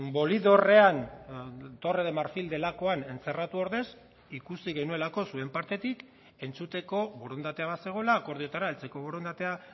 bolidorrean torre de marfil delakoan entzerratu ordez ikusi genuelako zuen partetik entzuteko borondatea bazegoela akordioetara heltzeko borondatea